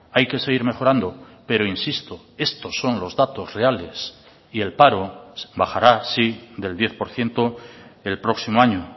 hay que seguir mejorando pero insisto estos son los datos reales y el paro bajará sí del diez por ciento el próximo año